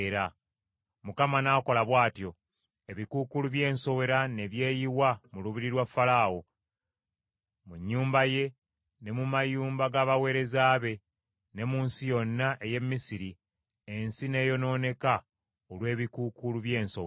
Mukama n’akola bw’atyo. Ebikuukuulu by’ensowera ne byeyiwa mu lubiri lwa Falaawo, mu nnyumba ye, ne mu mayumba g’abaweereza be, ne mu nsi yonna ey’e Misiri: ensi n’eyonooneka olw’ebikuukuulu by’ensowera.